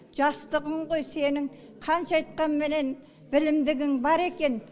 жастығың ғой сенің қанша айтқанменен білімдігің бар екен